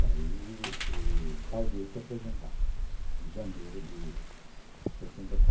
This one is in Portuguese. Daí tal dia se apresentar, em janeiro de sessenta e qua